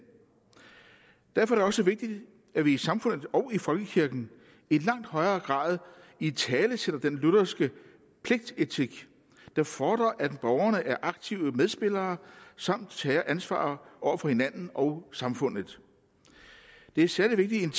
derfor er det også vigtigt at vi i samfundet og i folkekirken i langt højere grad italesætter den lutherske pligtetik der fordrer at borgerne er aktive medspillere samt tager ansvar over for hinanden og samfundet det er særlig vigtigt